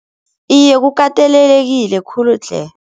Iye kukatelelekile khulu tle.